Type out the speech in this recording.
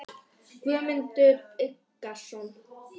Guðmundur Eggertsson.